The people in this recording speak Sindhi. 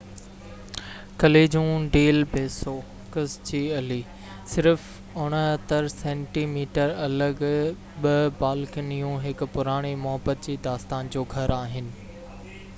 ڪاليجون ڊيل بيسو ڪس جو الي. صرف 69 سينٽي ميٽر الڳ ٻه بالڪنيون هڪ پراڻي محبت جي داستان جو گهر آهن